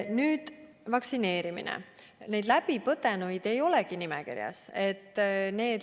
Ja veel: haiguse läbi põdenuid ei olegi vaktsineerimise nimekirjas.